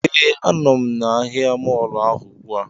Ee, a nọ m na ahịa mọọlụ ahụ ugbu a